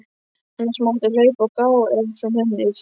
Annars máttu hlaupa og gá ef þú nennir.